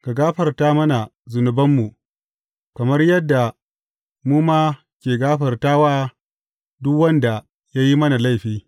Ka gafarta mana zunubanmu, kamar yadda mu ma ke gafarta wa duk wanda ya yi mana laifi.